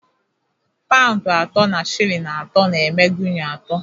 Paụnd atọ na shilling atọ na-eme Guinea atọ